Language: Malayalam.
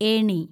ഏണി